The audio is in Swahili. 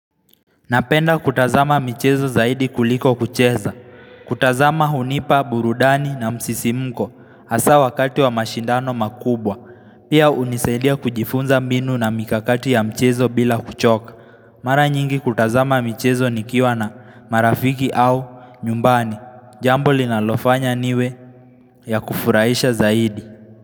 Napenda kutazama michezo zaidi kuliko kucheza, kutazama hunipa burudani na msisimuko hasa wakati wa mashindano makubwa, pia unisaidia kujifunza mbinu na mikakati ya mchezo bila kuchoka. Mara nyingi hutazama michezo nikiwa na marafiki au nyumbani, jambo linalofanya niwe ya kufuraisha zaidi.